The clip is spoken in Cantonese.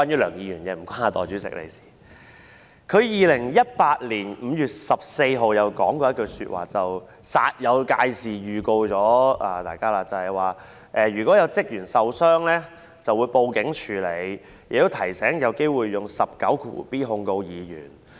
梁議員在2018年5月14日曾經煞有介事地向大家作出預告，說如果有職員受傷，就會報案處理，亦提醒議員有機會引用第 19b 條控告議員。